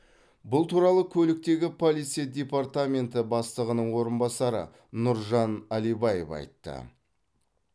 бұл туралы көліктегі полиция департаменті бастығының орынбасары нұржан алибаев айтты